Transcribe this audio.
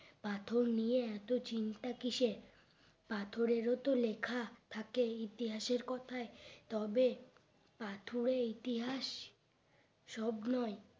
পাথর নিয়ে এত চিন্তা কিসের পাথরের ও তো লেখা থাকে ইতিহাসের কথাই তবে পাথরে ইতিহাস সব নই